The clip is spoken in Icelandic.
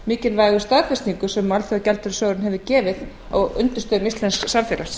mikilvægu staðfestingu sem alþjóðagjaldeyrissjóðurinn hefur gefið á undirstöðum íslensks samfélags